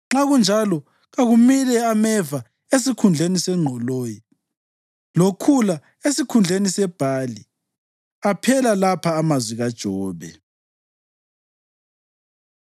nxa kunjalo kakumile ameva esikhundleni sengqoloyi, lokhula esikhundleni sebhali.” Aphela lapha amazwi kaJobe.